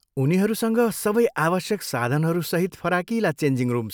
उनीहरूसँग सबै आवश्यक साधनहरू सहित फराकिला चेन्जिङ रुम छन्।